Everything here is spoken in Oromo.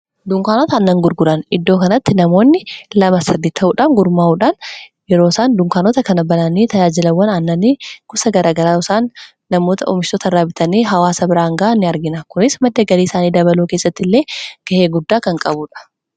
Dunkaanota aannan gurguran: Iddoo kanatti namoonni lama sadii ta'uudhaan gurmaa'uudhaan yeroo sana dunkaanota kana bananii tajaajilawwan aannanii gosa garaa garaa yeroo isaan namoota oomishoota irraa bitanii hawwaasa biraan ga'aan ni argina. Kunis madda galii isaanii dabaluu keessatti illee ga'ee guddaa kan qabuudha.